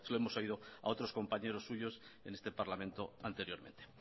nuevo ya se lo hemos oído a otros compañeros suyos en este parlamento anteriormente